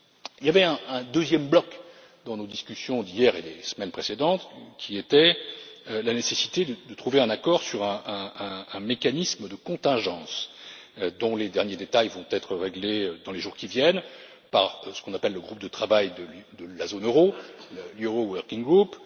Il y avait un deuxième bloc dans nos discussions d'hier et des semaines précédentes, qui était la nécessité de trouver un accord sur un mécanisme de contingences, dont les derniers détails vont être réglés dans les jours qui viennent, par ce qu'on appelle le groupe de travail de la zone euro, le Euro Working Group.